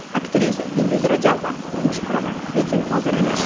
Aktrisa Yulduz Rajabova: Turmush quraman, lekin hozir emas.